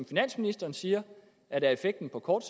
finansministeren siger er effekten på kort